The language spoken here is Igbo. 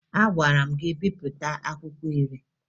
Agwara m gị bipụta akwụkwọ iri!